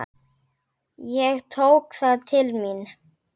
Ég tók það til mín.